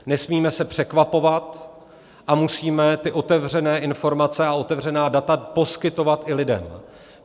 Nesmíme se překvapovat a musíme ty otevřené informace a otevřená data poskytovat i lidem.